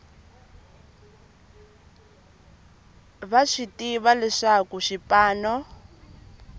va swi tiva leswaku xipano